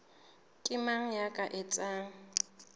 ke mang ya ka etsang